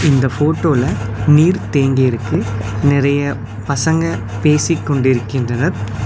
இந்த ஃபோட்டோல நீர் தேங்கி இருக்கு நெறைய பசங்க பேசிக் கொண்டிருக்கின்றனர்.